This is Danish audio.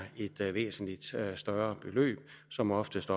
et væsentlig større beløb som oftest